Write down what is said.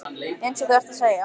Eins og þú ert að segja.